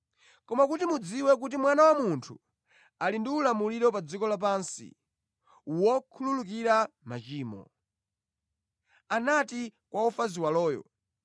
Koma kuti mudziwe kuti Mwana wa Munthu ali ndi ulamuliro pa dziko lapansi wokhululukira machimo.” Anati kwa wofa ziwaloyo,